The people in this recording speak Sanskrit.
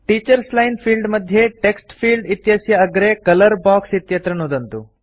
टीचर्स लाइन फील्ड मध्ये टेक्स्ट फील्ड इत्यस्य अग्रे कलर बॉक्स इत्यत्र नुदन्तु